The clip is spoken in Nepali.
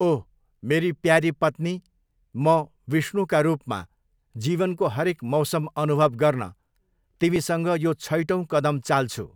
ओह! मेरी प्यारी पत्नी, म, विष्णुका रूपमा, जीवनको हरेक मौसम अनुभव गर्न तिमीसँग यो छैटौँ कदम चाल्छु।